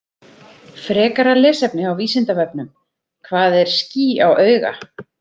Frekara lesefni á Vísindavefnum: Hvað er ský á auga?